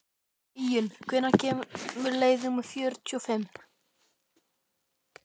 Íunn, hvenær kemur leið númer fjörutíu og fimm?